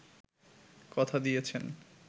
কথা দিয়েছেন